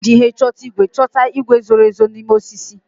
A ga-eji ihe nchọta igwe chọta igwe zoro ezo n'ime osisi.